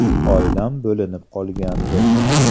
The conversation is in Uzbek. Oilam bo‘linib qolgandi.